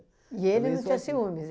E ele não tinha ciúmes?